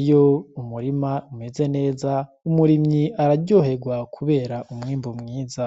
Iyo umurima umeze neza umurimyi araryoherwa kubera umwimbu mwiza.